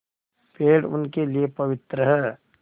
पेड़ उनके लिए पवित्र हैं